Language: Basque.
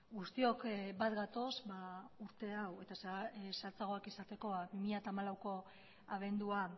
guztiok bat gatoz urte hau eta zehatzagoak izateko bi mila hamalauko abendua